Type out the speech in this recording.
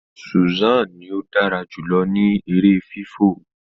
Susan ní o dára jùlọ ní èrè fifọ